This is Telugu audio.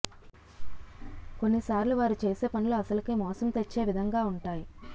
కొన్ని సార్లు వారు చేసే పనులు అసలుకే మోసం తెచ్చే విధంగా ఉంటాయి